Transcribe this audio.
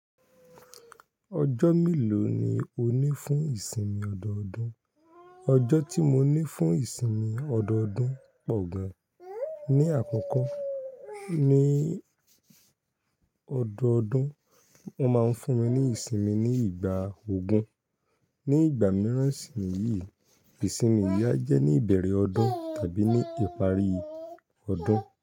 Ọjọ́ mélòó ni o ní fún ìsinmi ọdọọdún? Ọjọ́ tí mo ní fún ìsinmi ọdọọdún pọ̀ gan. Ni àkọ́kọ́, ní ọdọọdún, wọ́n máa ń fún mi ní ìsinmi ní ìgbà ogún. Ni ìgbà mìíràn, ìsinmi yìí, ìsinmi yìí a jẹ́ ní ìbẹ̀rẹ̀ ọdún tàbí ní ìparí ọdún.